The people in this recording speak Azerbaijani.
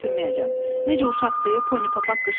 Necə uşaqdır, Pony Papaq qışqırdı.